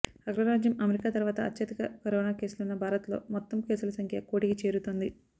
అగ్రరాజ్యం అమెరికా తర్వాత అత్యధిక కరోనా కేసులున్న భారత్లో మొత్తం కేసుల సంఖ్య కోటికి చేరుతోంది